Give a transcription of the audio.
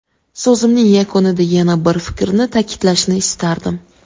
So‘zimning yakunida yana bir fikrni ta’kidlashni istardim.